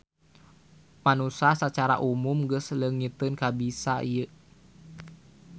Manusa sacara umum geus leungiteun kabisa ieu.